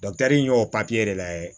in y'o papiye de lajɛ